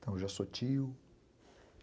Então, eu já sou tio.